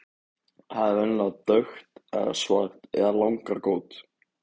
Það er venjulega dökkt eða svart og langrákótt.